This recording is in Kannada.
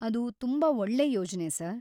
ಅದು ತುಂಬಾ ಒಳ್ಳೆ ಯೋಜ್ನೆ ಸರ್.